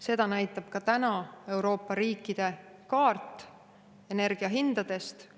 Seda näitab ka täna Euroopa riikide energiahindade kaart.